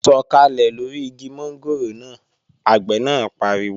Sọ̀kàlẹ̀ lóri igi mọ́ngòrò náà! Àgbẹ̀ náà pariwo